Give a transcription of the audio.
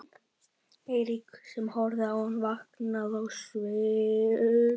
Eiríki sem horfði á hann, vankaður á svip.